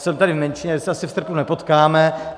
Jsem tady v menšině, tak se asi v srpnu nepotkáme.